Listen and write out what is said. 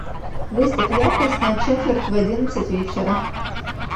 выставь яркость на четверть в одиннадцать вечера